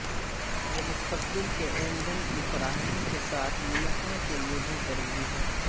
یہ مستقبل کے ایندھن کی فراہمی کے ساتھ نمٹنے کے لئے بھی ضروری ہے